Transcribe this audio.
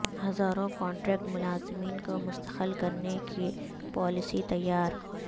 ہزاروں کنٹریکٹ ملازمین کو مستقل کرنے کی پالیسی تیار